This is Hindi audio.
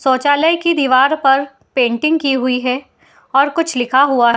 शौचालय के दीवार पर पेंटिंग की हुई है और कुछ लिखा हुआ है।